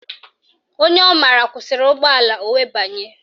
Onye ọ mara kwụsịrị ụgbọala o wee banye